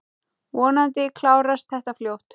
Vonandi klárast þetta fljótt.